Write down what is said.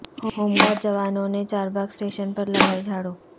home guard جوانوں نے Charbagh station پر لگائی جھاڑو